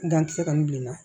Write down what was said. Gankisɛ kɔni bi na